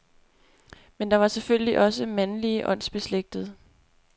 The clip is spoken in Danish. Men der var selvfølgelig også mandlige åndsbeslægtede.